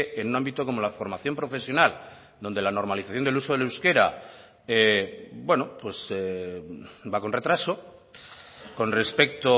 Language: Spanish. en un ámbito como la formación profesional donde la normalización del uso del euskera va con retraso con respecto